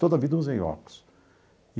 Toda a vida eu usei óculos.